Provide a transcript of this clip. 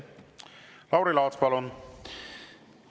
Lauri Laats, palun!